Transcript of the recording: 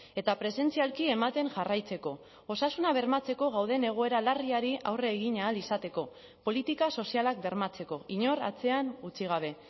eta presentzialki ematen jarraitzeko osasuna bermatzeko gauden egoera larriari aurre egin ahal izateko politika sozialak bermatzeko inor atzean utzi gabe